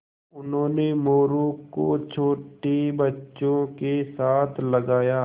उन्होंने मोरू को छोटे बच्चों के साथ लगाया